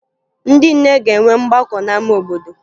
Ndị nne ga-enwe mgbakọ n'ama obodo